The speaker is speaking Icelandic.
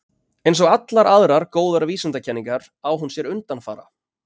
Eins og allar aðrar góðar vísindakenningar á hún sér undanfara.